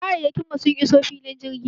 Kayayyakin mu sun iso filin jirgin.